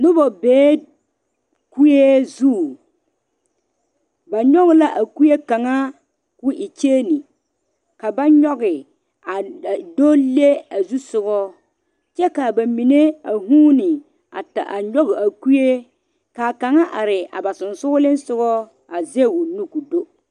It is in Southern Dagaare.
Noba beɛ kuɛ zu ba nyoŋ la a kuɛ mine ko e kyɛɛne ka ba nyoŋe a do le a zu soga kyɛ kaa ba mine a vuune a ta a nyoŋ a kuɛ kaa kaŋa are a ba so soŋle sogɔ a zage o nu ko do.